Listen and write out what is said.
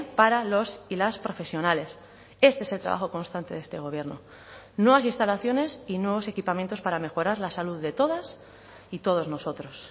para los y las profesionales este es el trabajo constante de este gobierno nuevas instalaciones y nuevos equipamientos para mejorar la salud de todas y todos nosotros